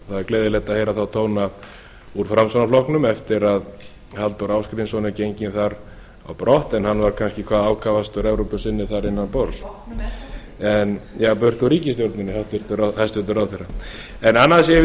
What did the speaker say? er gleðilegt að heyra þá tóna úr framsóknarflokknum eftir að halldór ásgrímsson er genginn þar á brott en hann var kannski hvað ákafastur evrópusinni þar innan borðs já burt úr ríkisstjórninni hæstvirtur ráðherra en annað sem ég vildi